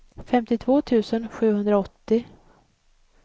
femtiotvå tusen sjuhundraåttio